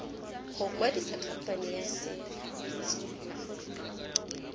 go kwadisa khamphane ya set